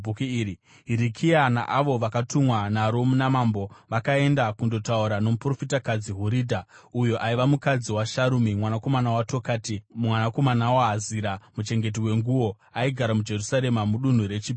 Hirikia naavo vakatumwa naro namambo vakaenda kundotaura nomuprofitakadzi Huridha, uyo aiva mukadzi waSharumi mwanakomana waTokati mwanakomana waHazira muchengeti wenguo. Aigara muJerusarema, muDunhu reChipiri.